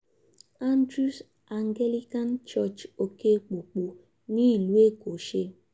andrews anglican church òkè pópó nílùú èkó ṣe